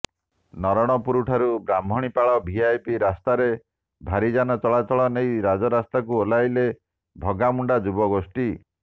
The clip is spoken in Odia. ନରଣପୁର ଠାରୁ ବ୍ରାହ୍ମଣୀପାଳ ଭିଆଇପି ରାସ୍ତାରେ ଭାରିଯାନ ଚଳାଚଳ ନେଇ ରାଜରାସ୍ତାକୁ ଓହ୍ଲାଇଲେ ଭଗାମୁଣ୍ଡା ଯୁବଗୋଷ୍ଠୀ